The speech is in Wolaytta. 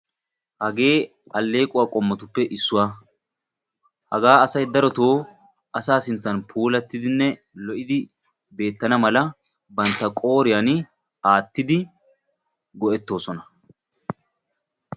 Hagee alleeqquwaa qommotuppe issuwaa. Hagaa asay darotoo asaa sinttan puulattidinne lo"idi beettana mala bantta qooriyan aattidi go"ettoosona.